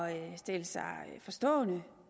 at stille sig forstående